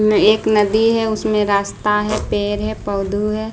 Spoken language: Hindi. नएक नदी है उसमें रास्ता है पेड़ है पौधउ है।